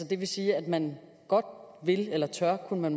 det vil sige at man godt vil eller tør kunne